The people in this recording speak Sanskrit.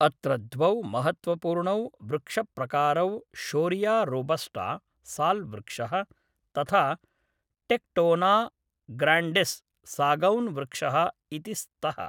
अत्र द्वौ महत्त्वपूर्णौ वृक्षप्रकारौ शोरिया रोबस्टा साल् वृक्षः तथा टेक्टोना ग्राण्डिस् सागौन् वृक्षः इति स्तः।